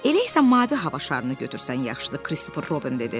Elə isə mavi hava şarını götürsən yaxşıdır, Christopher Robin dedi.